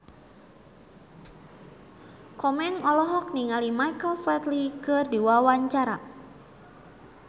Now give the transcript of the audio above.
Komeng olohok ningali Michael Flatley keur diwawancara